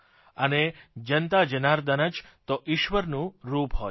અને જનતા જનાર્દન જ તો ઇશ્વરનું રૂપ હોય છે